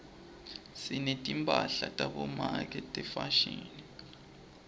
sinetimphahla tabomake tefashini